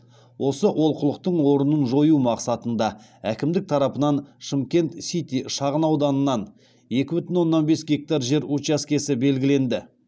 осы олқылықтың орнын жою мақсатында әкімдік тарапынан шымкент сити шағынауданынан екі бүтін оннан бес гектар жер учаскесі белгіленді